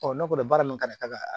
Ɔ ne kɔni baara min ka kan ka kɛ